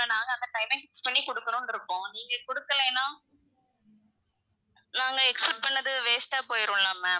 நாங்க அந்த timing படி குடுக்கணும்ன்னு இருக்கோம் நீங்க குடுக்கலைன்னா நாங்க expect பண்ணுனது waste ஆ போயிரும்ல ma'am